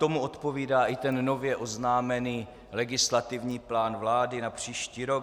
Tomu odpovídá i ten nově oznámený legislativní plán vlády na příští rok.